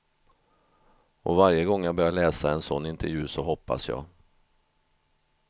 Och varje gång jag börjar läsa en sån intervju så hoppas jag.